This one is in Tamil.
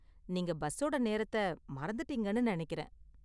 நீங்க பஸ்ஸோட நேரத்த மறந்துட்டீங்கன்னு நெனைக்கிறேன்.